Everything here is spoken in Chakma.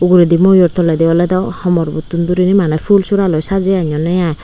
ogoradey moyour tolade oloda homor bo tun duri nay manna fulsora sajay anonna ai.